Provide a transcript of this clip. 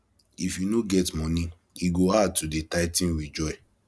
if you no get money e go hard to dey tithing with joy